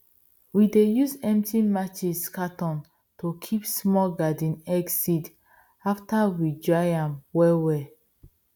we dey use empty matches cartoon to kip small garden egg seeds after we dry am well well